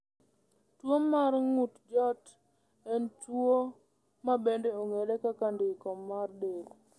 Tuwo mar ng’ut joot en tuwo ma bende ong’ere kaka ndiko mar del.